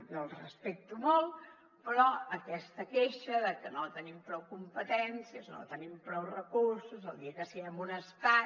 jo el respecto molt però aquesta queixa de que no tenim prou competències no tenim prou recursos el dia que siguem un estat